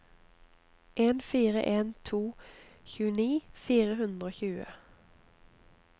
en fire en to tjueni fire hundre og tjue